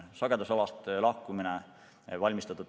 Sagedusalast lahkumist on pikalt ette valmistatud.